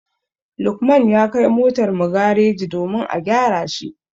Lukman ya kai motar mu gareji domin a gyara shi.